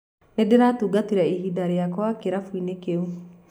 Nĩndĩratugatĩre ihinda rĩakwa kĩrabũini kĩu.